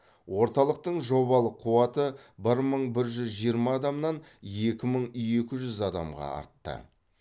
орталықтың жобалық қуаты бір мың бір жүз жиырма адамнан екі мың екі жүз адамға артты